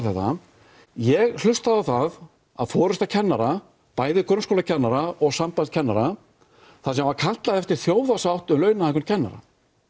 þetta ég hlustaði á það að forysta kennara bæði grunnskólakennara og sambands kennara þar sem var kallað eftir þjóðarsátt um launahækkun kennara